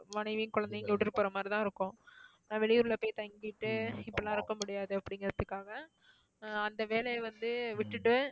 மனைவி குழந்தைங்களை விட்டுட்டுப் போற மாதிரி தான் இருக்கும். வெளியூர்ல போய் தங்கிட்டு இப்படிலாம் இருக்க முடியாது அப்படிங்குறதுக்காக அஹ் அந்த வேலையை வந்து விட்டுட்டு